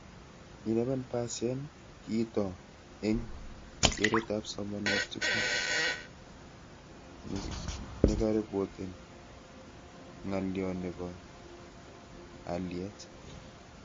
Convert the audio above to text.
11% kitoo eng keretab somanet tugul nekaripoten ngalio nebo aliet